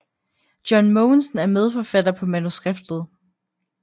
John Mogensen er medforfatter på manuskriptet